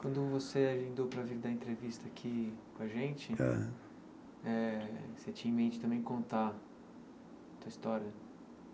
Quando você agendou para vir dar entrevista aqui com a gente Aham, eh você tinha em mente também contar a tua história?